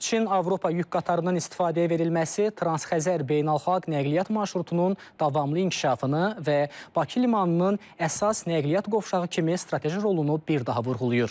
Çin-Avropa yük qatarından istifadəyə verilməsi Transxəzər beynəlxalq nəqliyyat marşrutunun davamlı inkişafını və Bakı limanının əsas nəqliyyat qovşağı kimi strateji rolunu bir daha vurğulayır.